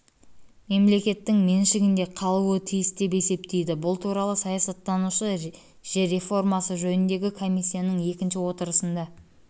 мемлекеттің меншігінде қалуы тиіс деп есептейді бұл туралы сайсаттанушы жер реформасы жөніндегі комиссияның екінші отырысында